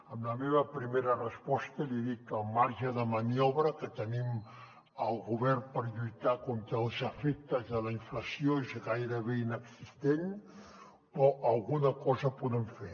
amb la meva primera resposta li dic que el marge de maniobra que tenim al govern per lluitar contra els efectes de la inflació és gairebé inexistent però alguna cosa podem fer